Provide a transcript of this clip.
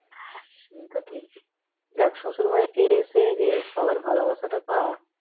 হ্যাঁ সে তো ঠিকই দেখ শশুর বাড়িতে এসে যে সবার ভালোবাসাটা পাওয়া